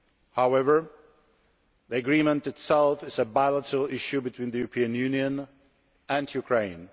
However, the Agreement itself is a bilateral issue between the European Union and Ukraine.